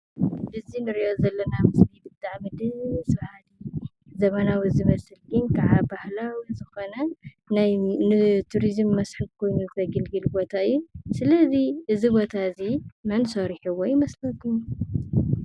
እዚ እንሪኦ ዘለና ምስሊ ብጣዕሚ ደስ ብሃልን ዘመናዊ ዝመስልግን ክዓ ባህላዊ ዝኾነ ናይ ንቱሪዝም መስሕብ ኮይኑ ዘገልግል ቦታ እዩ። ሰለዚ እዚ ቦታ እዚ መን ሰሪሕዎ ይመስለኩም?